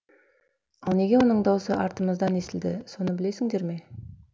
ал неге оның даусы артымыздан естілді соны білесіңдер ме